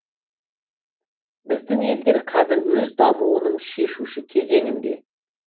біздің елдер қазір өз дамуының шешуші кезеңінде